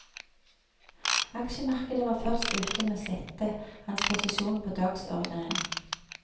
Aksjemarkedet var først ute med å sette hans posisjon på dagsordenen.